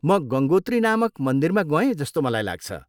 म गङ्गोत्री नामक मन्दिरमा गएँ जस्तो मलाई लाग्छ।